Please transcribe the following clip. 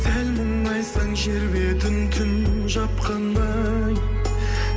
сәл мұңайсаң жер бетін түн жапқандай